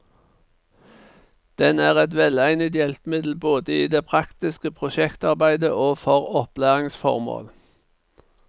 Den er et velegnet hjelpemiddel både i det praktiske prosjektarbeidet og for opplæringsformål.